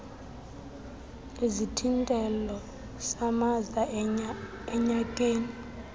isithintelo samaza enyakeni